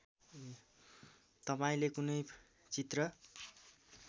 तपाईँले कुनै चित्र